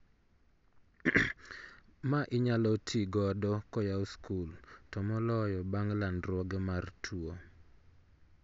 Ma inyalo ti godo koyaw skul to moloyo bang' landruoge mar tuo